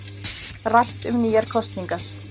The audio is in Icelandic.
Rætt um nýjar kosningar